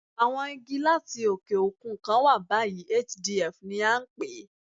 Àwọn Igi láti òkè òkun kan wà báyìí, HDF ni à ń pè é.